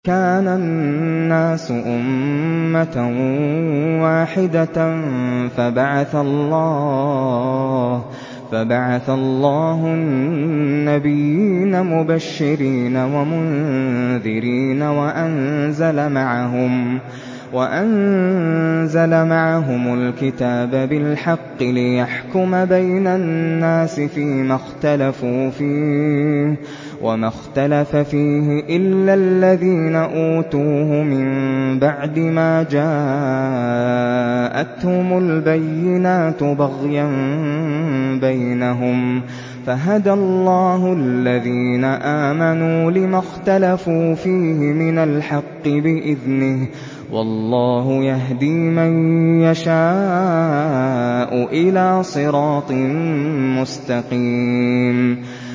كَانَ النَّاسُ أُمَّةً وَاحِدَةً فَبَعَثَ اللَّهُ النَّبِيِّينَ مُبَشِّرِينَ وَمُنذِرِينَ وَأَنزَلَ مَعَهُمُ الْكِتَابَ بِالْحَقِّ لِيَحْكُمَ بَيْنَ النَّاسِ فِيمَا اخْتَلَفُوا فِيهِ ۚ وَمَا اخْتَلَفَ فِيهِ إِلَّا الَّذِينَ أُوتُوهُ مِن بَعْدِ مَا جَاءَتْهُمُ الْبَيِّنَاتُ بَغْيًا بَيْنَهُمْ ۖ فَهَدَى اللَّهُ الَّذِينَ آمَنُوا لِمَا اخْتَلَفُوا فِيهِ مِنَ الْحَقِّ بِإِذْنِهِ ۗ وَاللَّهُ يَهْدِي مَن يَشَاءُ إِلَىٰ صِرَاطٍ مُّسْتَقِيمٍ